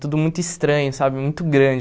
Tudo muito estranho sabe, muito grande.